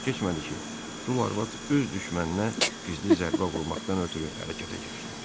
Çox keçmədi ki, dul arvad öz düşməninə gizli zərbə vurmaqdan ötrü hərəkətə keçdi.